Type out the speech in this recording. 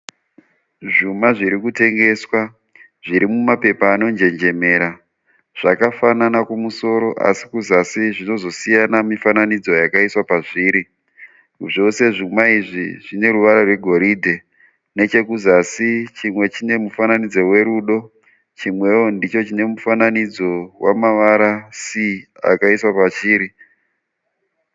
Zvuma zviri kutengeswa zviri mumapepa anonjenjemera. Zvakafanana kumusoro asi kuzasi zvinozosiyana mifananidzo yakaiswa pazviri. Zvose zvuma izvi zvine ruvara rwegoridhe. Nechekuzasi chimwe chine mufananidzo werudo chimwewo chine mufananidzo wemavara C wakaiswa pachiri.